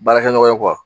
Baarakɛ ɲɔgɔn ye